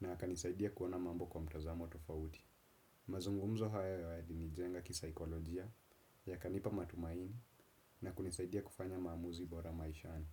na akanisaidia kuona mambo kwa mtazamo tofautim. Mazungumzo hayo yalinijenga kisaikolojia, yakanipa matumaini na kunisaidia kufanya maamuzi bora maishani.